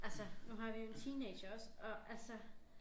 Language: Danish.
Altså nu har vi en teenager også og altså